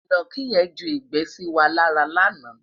inaki yen ju igbe sí wà lára lànà